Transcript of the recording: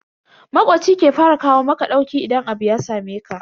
Makoci shi ke fara kawo maka ɗauki idan abu ya sameka.